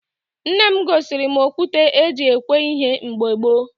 Nne m gosiri m okwute e ji egwe ihe mgbe gboo